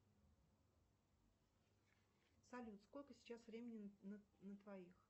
салют сколько сейчас времени на твоих